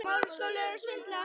Jú svarar Snorri.